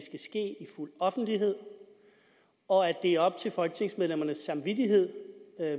fuld offentlighed og at det er op til folketingsmedlemmernes samvittighed